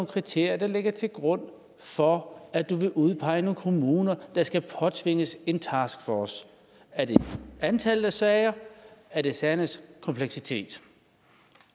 kriterier der ligger til grund for at du vil udpege nogle kommuner der skal påtvinges en taskforce er det antallet af sager er det sagernes kompleksitet